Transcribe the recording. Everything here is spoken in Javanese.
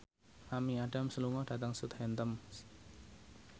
Amy Adams lunga dhateng Southampton